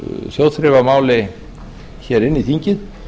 þjóðþrifamáli inn í þingið